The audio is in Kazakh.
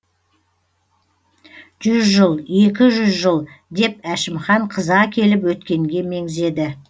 жүз жыл екі жүз жыл деп әшімхан қыза келіп өткенге меңзеді